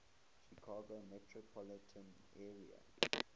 chicago metropolitan area